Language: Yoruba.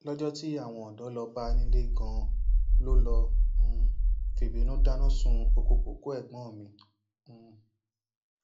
lọjọ tí àwọn ọdọ lọọ bá a nílé ganan ló lọọ um fìbínú dáná sun ọkọ kókó ẹgbọn mi um